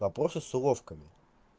вопросы с уловками